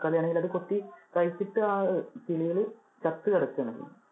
തക്കാളി ആണെങ്കിൽ അത് കൊത്തി കഴിച്ചിട്ട് ആ അഹ് കിളികള് ചത്തു കിടക്കാണ്.